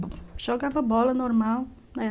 É, jogava bola, normal, é.